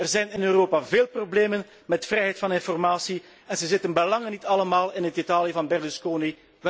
Ja, er zijn in Europa veel problemen met de vrijheid van informatie en ze zitten bij lange niet allemaal in het Italië van Berlusconi.